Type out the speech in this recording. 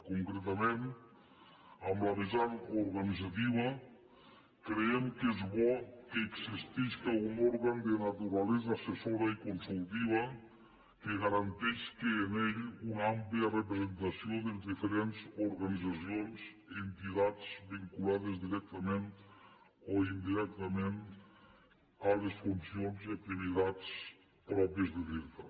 concretament en la vessant organitzativa creiem que és bo que existeixi un òrgan de naturalesa assessora i consultiva que garanteix que en ell una àmplia representació de les diferents organitzacions i entitats vinculades directament o indirectament a les funcions i activitats pròpies de l’irta